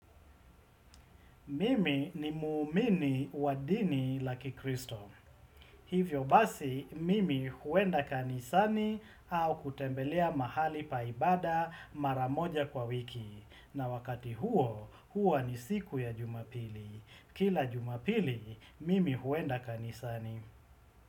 Mimi ni muumini wa dini la kikristo. Hivyo basi, mimi huenda kanisani au kutembelea mahali pa ibada maramoja kwa wiki. Na wakati huo, hua ni siku ya jumapili. Kila jumapili, mimi huenda kanisani.